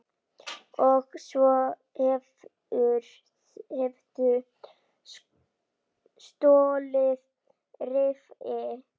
Og svo hefurðu stolið riffli!